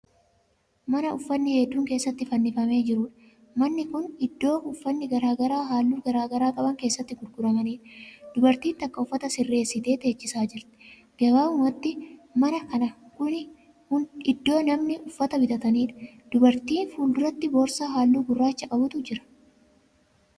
Mana uffanni hedduun keessatti fannifamee jiruudha. Manni Kuni iddoo uffanni garagaraa halluu garagaraa qaban keessatti gurguramaniidha. Dubartiin takka uffata sirreessitee teechisaa jirti. Gabaabumatti mana kana kuni iddo namoonni uffata bitataniidha. Dubartii fuulduratti boorsaa halluu gurraacha qabutu jira.